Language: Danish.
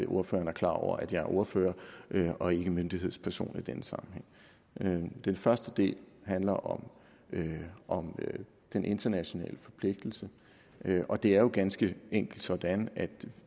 ordføreren er klar over at jeg er ordfører og ikke myndighedsperson i denne sammenhæng den første del handler om om den internationale forpligtelse det er jo ganske enkelt sådan at